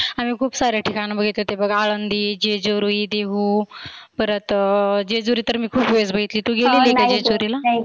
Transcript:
आम्ही खुप सारे ठिकाण बघितले बघ. आळंदी, जेजुरी, देहु, परत जेजुरी तर मी खुप वेळेस बघितली. तु गेलेली का जेजुरीला?